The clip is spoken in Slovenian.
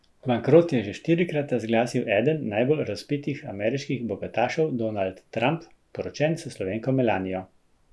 Bankrot je že štirikrat razglasil eden najbolj razvpitih ameriških bogatašev Donald Trump, poročen s Slovenko Melanijo.